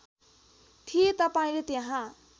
थिएँ तपाईँले त्यहाँ